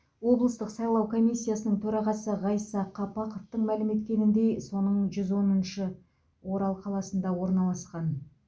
облыстық сайлау комиссиясының төрағасы ғайса қапақовтың мәлім еткеніндей соның жүз оныншы орал қаласында орналасқан